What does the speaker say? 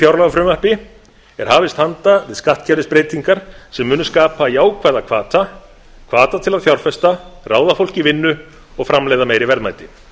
fjárlagafrumvarpi er hafist handa við skattkerfisbreytingar sem munu skapa jákvæða hvata hvata til að fjárfesta ráða fólk í vinnu og framleiða meiri verðmæti